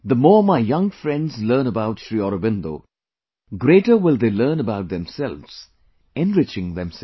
The more my young friends learn about SriAurobindo, greater will they learn about themselves, enriching themselves